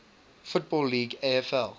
football league afl